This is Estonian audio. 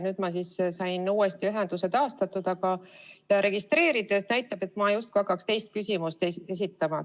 Nüüd ma sain ühenduse taastatud ja end registreeritud, aga näitab, et ma justkui hakkaks teist küsimust esitama.